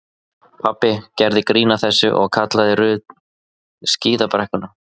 Pabbi gerði grín að þessu og kallaði Ruth skíðabrekkuna.